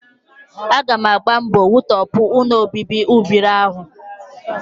Aga m agba mbọ wutọpụ ụlọobibi ụbịrị ahụ